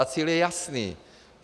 A cíl je jasný.